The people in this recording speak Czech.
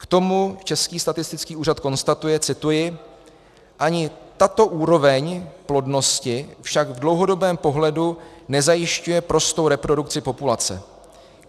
K tomu Český statistický úřad konstatuje - cituji: Ani tato úroveň plodnosti však v dlouhodobém pohledu nezajišťuje prostou reprodukci populace.